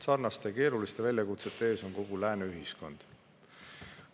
Sarnaste keeruliste väljakutsete ees on kogu lääne ühiskond.